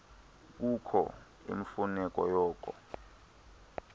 kukho imfuneko yoko